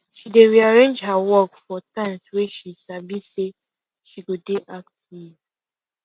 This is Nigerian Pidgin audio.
she dey arrange her work for times wey she sabi say she go dey active